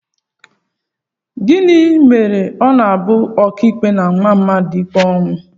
Gịnị mere na ọ bụ ọkàikpe na-ama mmadụ ikpe ọnwụ?